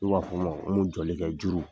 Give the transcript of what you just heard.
n m'o jɔlikɛ juru.